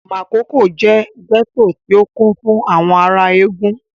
Makòko jẹ́ gẹ́tò tí ó kún fún àwọn ará Ègùn